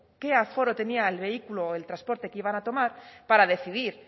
qué aforo tenía el vehículo o el transporte que iban a tomar para decidir